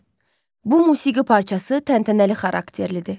Bu musiqi parçası təntənəli xarakterlidir.